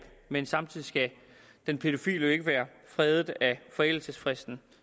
men samtidig skal den pædofile jo ikke være fredet af forældelsesfristen